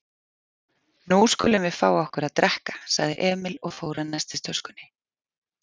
Nú skulum við fá okkur að drekka, sagði Emil og fór að nestistöskunni.